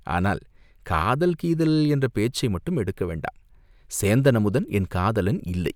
"ஆனால் காதல், கீதல் என்ற பேச்சை மட்டும் எடுக்க வேண்டாம்!" "சேந்தன் அமுதன் என் காதலன் இல்லை.